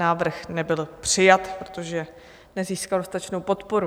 Návrh nebyl přijat, protože nezískal dostatečnou podporu.